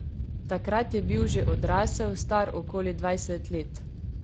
Takrat je bil že odrasel, star okoli dvajset let.